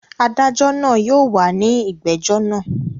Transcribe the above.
Adájọ́ náà yóò wà ní ìgbẹ́jọ́ náà.